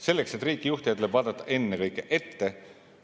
Selleks, et riiki juhtida, tuleb vaadata ennekõike ette.